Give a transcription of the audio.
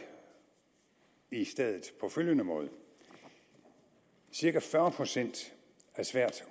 i stedet på følgende måde cirka fyrre procent af svært